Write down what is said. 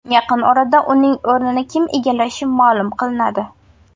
Yaqin orada uning o‘rini kim egallashi ma’lum qilinadi.